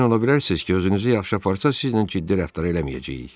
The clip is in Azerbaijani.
Əmin ola bilərsiniz ki, özünüzü yaxşı aparsaız, sizlə ciddi rəftar eləməyəcəyik.